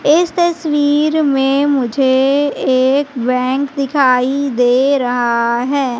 इस तस्वीर में मुझे एक बैंक दिखाई दे रहा है।